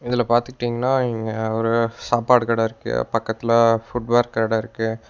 இதுல பாத்துட்டீங்னா இவிங்க ஒரு சாப்பாடு கட இருக்கு பக்கத்தில ஃபூட்வேர் கட இருக்கு.